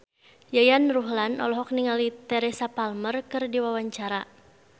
Yayan Ruhlan olohok ningali Teresa Palmer keur diwawancara